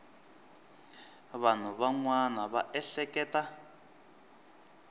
vanhu van wana va ehleketa